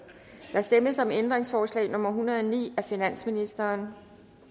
der stemmes om ændringsforslag nummer en hundrede og ni af finansministeren